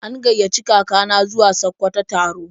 An gaiyaci kaka na zuwa Sakkwato taro.